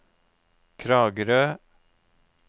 Kragerø